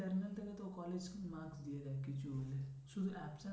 internal থেকে তো college marks দিয়ে দেয় কিছু হলে শুধু